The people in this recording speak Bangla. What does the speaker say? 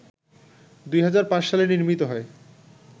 ২০০৫ সালে নির্মিত হয়